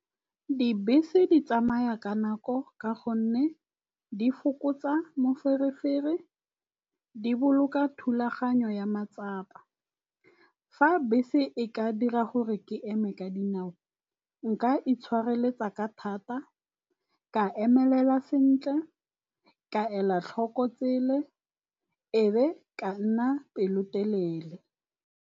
Dibese di tsamaya ka nako ka gonne di fokotsa moferefere, di boloka thulaganyo ya matsapa. Fa bese e ka dira gore ke eme ka dinao, nka itshwareletsa ka thata, ka emelela sentle, ka ela tlhoko tsele ebe ka nna pelotelele.